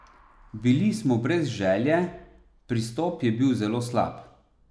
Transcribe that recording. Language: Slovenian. Bili smo brez želje, pristop je bil zelo slab.